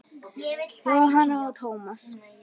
Jóhanna og Tómas.